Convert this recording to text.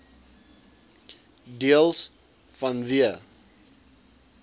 deels vanweë